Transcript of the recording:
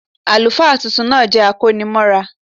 Àlùfáà tuntun náà jẹ́ akónimọ́ra